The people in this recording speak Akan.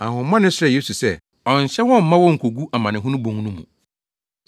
Ahohommɔne no srɛɛ Yesu sɛ ɔnnhyɛ wɔn mma wonnkogu amanehunu bon no mu.